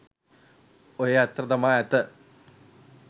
ඔහේ අතහැර දමා ඇත